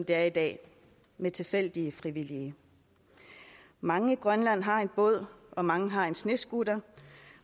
er i dag med tilfældige frivillige mange i grønland har en båd og mange har en snescooter